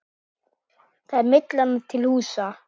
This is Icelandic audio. Þar er Myllan til húsa.